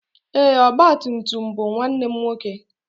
Ee, ọgba tum tum bụ nwanne m nwoke.